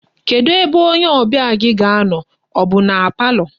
Kedu ebe onye obia gi ga-ano, o bu na palọ?